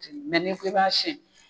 ni ko i b'a sɛn